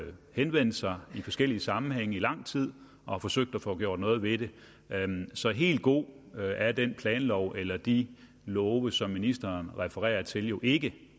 henvendt sig i forskellige sammenhænge gennem lang tid og forsøgt at få gjort noget ved det så helt god er den planlov eller de love som ministeren refererer til jo ikke